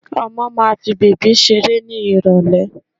Ọmọ máa fi bèbí ṣeré ní Ìrọ̀lẹ̀